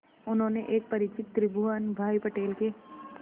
उन्होंने एक परिचित त्रिभुवन भाई पटेल के